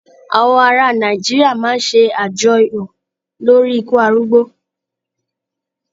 Àwọn ará Nàìjíríà máa ń ṣàjọyọ̀ lórí ikú arúgbó.